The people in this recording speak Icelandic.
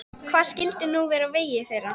Hvað skyldi nú verða á vegi þeirra?